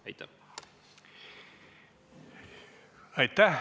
Aitäh!